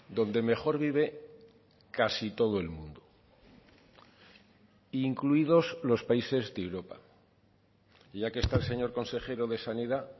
donde mejor vive casi todo el mundo incluidos los países de europa ya que está el señor consejero de sanidad